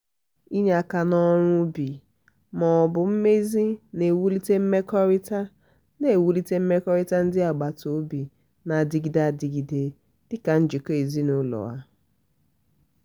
inye aka n'ọrụ um ubi um ma ọ bụ mmezi na-ewulite mmekọrịta na-ewulite mmekọrịta ndị agbata obi na-adịgide adigide dị ka njikọ ezinụlọ. um